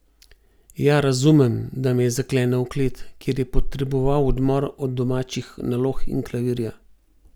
Ja, razumem, da me je zaklenil v klet, ker je potreboval odmor od domačih nalog in klavirja.